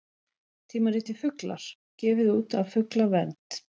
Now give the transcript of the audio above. Tímaritið Fuglar, gefið út af Fuglavernd.